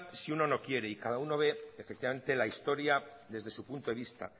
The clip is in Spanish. si uno no quiere y cada uno ve efectivamente la historia desde su punto de vista